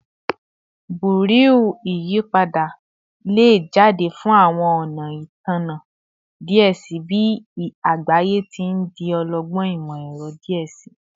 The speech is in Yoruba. Bereau iyipada le jade fun awọn ọna Itanna diẹ sii bi agbaye ti n di ọlọgbọn imọ-ẹrọ diẹ sii